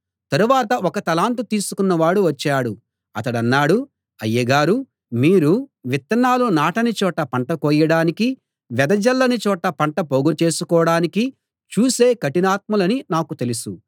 తరువాత ఒక్క తలాంతు తీసుకున్నవాడు వచ్చాడు అతడన్నాడు అయ్యగారూ మీరు విత్తనాలు నాటని చోట పంట కోయడానికీ వెదజల్లని చోట పంట పోగుచేసుకోడానికీ చూసే కఠినాత్ములని నాకు తెలుసు